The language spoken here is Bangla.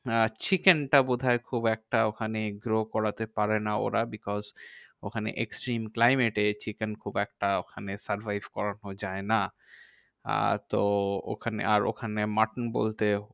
আহ chicken টা বোধহয় খুব একটা ওখানে grow করাতে পারেনা ওরা। because ওখানে extreme climate এ chicken খুব একটা ওখানে survive করানো যায় না। আর তো ওখানে আর ওখানে mutton বলতে